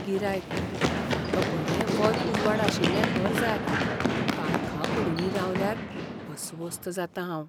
गिरायकः "म्हाका बरें वत उजवाड आशिल्लें घर जाय, काळखा कुडींनी रावल्यार अस्वस्थ जातां हांव."